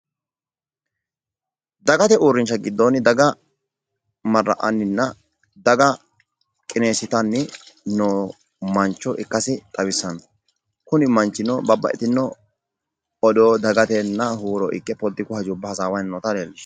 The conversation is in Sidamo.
Dagate uurrinsha giddonni daga marra"annina daga qineessitanni no mancho ikkasi xawisanno, kuni manchino babbaxxitino odoo dagatenna huuro ikke politiku hajubba hasaawanni noota leellishanno.